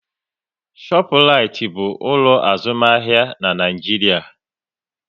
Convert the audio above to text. Shọpraịtị bụ ụlọ azụmahịa na Nịajiria